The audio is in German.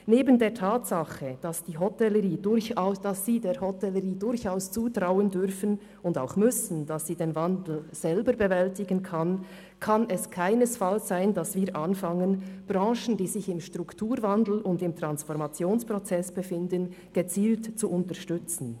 Neben der Tatsache, dass Sie der Hotellerie durchaus zutrauen dürfen und auch müssen, dass sie den Wandel selber bewältigen kann, kann es keinesfalls sein, dass wir anfangen, Branchen, die sich im Strukturwandel und im Transformationsprozess befinden, gezielt zu unterstützen.